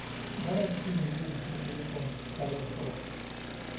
давай скинем денег на телефон коллега просит